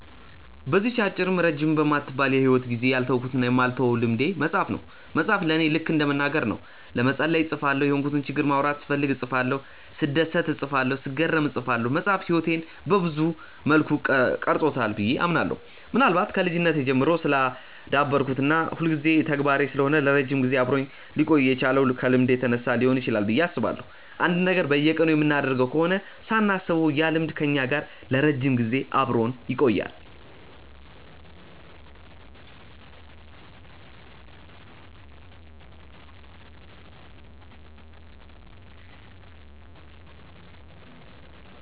በዚህች አጭርም ረጅምም በማትባል የሂወት ጊዜዬ ያልተውኩትና የማልተወው ልምዴ መጻፍ ነው። መጻፍ ለኔ ልከ እንደ መናገር ነው። ለመጸለይ እጽፋለሁ፤ የሆንኩትን ችግር ማውራት ስፈልግ እጽፋለሁ፤ ስደሰት እጽፋለሁ፤ ስገረም እጽፋለሁ። መጻፍ ህይወቴን ሰብዙ መልኩ ቀርጾታል ብዬ አምናለሁ። ምናልባት ከልጅነቴ ጀምሮ ስላዳበርኩት እና የሁልጊዜ ተግባሬ ስለሆነ ለረጅም ጊዜ አብሮኝ ሊቆይ የቻለው ከልምድ የተነሳ ሊሆን ይችላል ብዬ አስባለሁ። አንድን ነገር በየቀኑ የምናደርገው ከሆነ ሳናስበው ያ ልማድ ከኛ ጋር ለረጅም ጊዜ አብሮን ይቆያል።